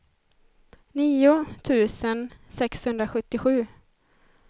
nio tusen sexhundrasjuttiosju